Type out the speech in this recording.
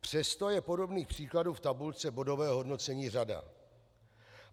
Přesto je podobných příkladů v tabulce bodového hodnocení řada.